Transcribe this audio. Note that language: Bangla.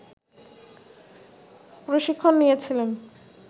প্রশিক্ষণ নিয়েছিলেন